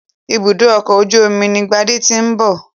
Ibùdó ọkọ̀ ojú omi ni Gbádé ti ń bọ̀.